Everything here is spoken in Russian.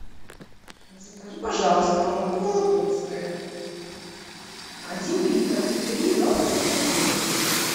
закажи пожалуйста молоко вологодское один литр три и два процента жирности